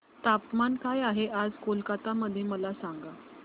तापमान काय आहे आज कोलकाता मध्ये मला सांगा